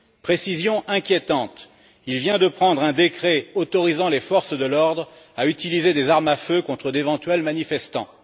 Précision inquiétante il vient de prendre un décret autorisant les forces de l'ordre à utiliser des armes à feu contre d'éventuels manifestants.